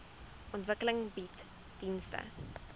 ontwikkeling bied dienste